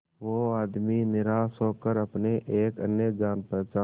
वो आदमी निराश होकर अपने एक अन्य जान पहचान